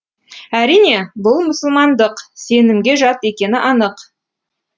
әрине бұл мұсылмандық сенімге жат екені анық